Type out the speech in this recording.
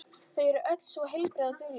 Þau eru öll svo heilbrigð og dugleg.